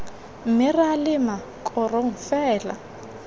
mme ra lema korong fela